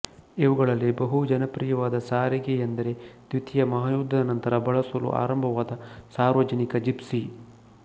ಇವುಗಳಲ್ಲಿ ಬಹು ಜನಪ್ರಿಯವಾದ ಸಾರಿಗೆ ಎಂದರೆ ದ್ವಿತೀಯ ಮಹಾಯುದ್ದದ ನಂತರ ಬಳಸಲು ಆರಂಭವಾದ ಸಾರ್ವಜನಿಕ ಜೀಪ್ನಿ